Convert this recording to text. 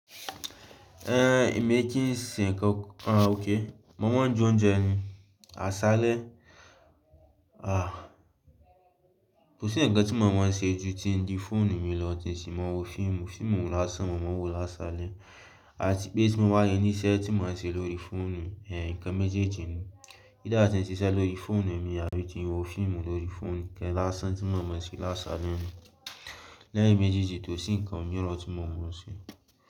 Ehn, èmi kí n ṣe nǹkan, àn okay mò mọ̀ n jẹ oúnjẹ ni, àṣálẹ́, àh, kò sí nǹkan tí mò mọ̀ n ṣe ju tí n di fóònù mi lọ, tí n sì máa wo fíìmù, fíìmù láṣan mò mọ̀ n wò lásálẹ́, àti pé tí mò ba lo níṣẹ́ tí mò n ṣe lórí fóònù, ehn, nǹkan méjèèjì ni. Either tí n ṣi iṣẹ́ lórí fóònù mi àbí ti n wo fíìmù lórí fóònù, nǹkan lásán tí mò mọ̀ n ṣe lásálẹ́ ni. Lẹ́yìn méjèèjì, tó sì nǹkan mìíràn tí mò mọ̀ n ṣe.